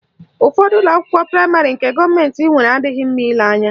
Ụfọdụ ụlọakwụkwọ praịmarị nke gọọmentị nwere adịghị mma ile anya